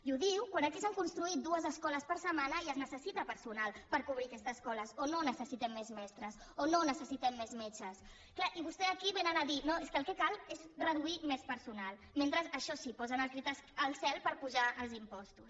i ho diu quan aquí s’han construït dues escoles per setmana i es necessita personal per cobrir aquestes escoles o no necessitem més mestres o no necessitem més metges clar i vostès aquí vénen a dir no és que el que cal és reduir més personal mentre això sí posen el crit al cel per apujar els impostos